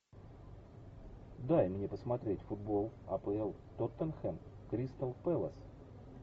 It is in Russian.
дай мне посмотреть футбол апл тоттенхэм кристал пэлас